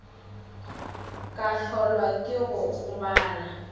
ka hlolwa ke go gobala